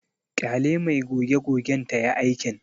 Ƙyale mai goge-gogen tayi aikin.